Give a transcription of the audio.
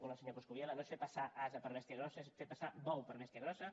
un al senyor coscubiela no és fer passar ase per bèstia grossa és fer passar bou per bèstia grossa